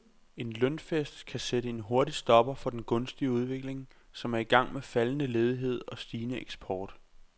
En lønfest kan sætte en hurtig stopper for den gunstige udvikling, som er i gang med faldende ledighed og stigende eksport.